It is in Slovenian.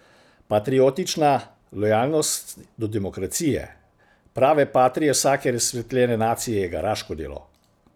Patriotična lojalnost do demokracije, prave patrie vsake razsvetljene nacije, je garaško delo.